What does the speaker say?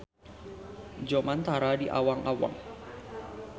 Jomantara di awang-awang.